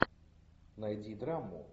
найди драму